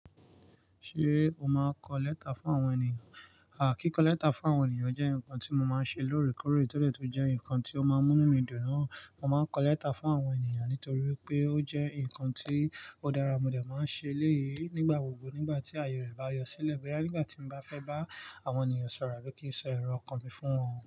Ṣé o máa ń kọ lẹ́tà fún àwọn ènìyàn? Àkíkọ lẹ́tà fún àwọn ènìyàn jẹ́ nǹkan tí mo máa ń ṣe lóòrèkóòrè ti o de tun jẹ́ nǹkan tí ó máa ń mú mí dùn. Mo máa ń kọ lẹ́tà fún àwọn ènìyàn nítorí wipé ó jẹ́ nǹkan tí ó dára. Mo dè máa ń ṣe léyìí nígbà gbogbo nígbà tí àyè rẹ̀ bá yọ sílẹ̀. Bóyá, nígbà tí mo bá fẹ́ bá àwọn ènìyàn sọ̀rọ̀ àbí kí ń sọ èrò iọkàn mi fún wọn.